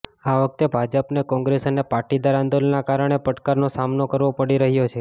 આ વખતે ભાજપને કોંગ્રેસ અને પાટીદાર આંદોલનના કારણે પડકારનો સામનો કરવો પડી રહ્યો છે